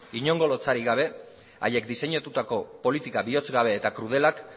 inongo lotsarik gabe haiek diseinatutako politika bihotz gabe eta krudelak